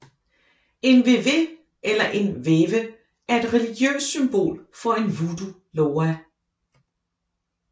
En Vévé eller Veve er et religiøst symbol for en voodoo Loa